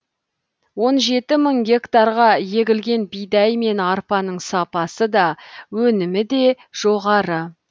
он жеті мың гектарға егілген бидай мен арпаның сапасы да өнімі де жоғары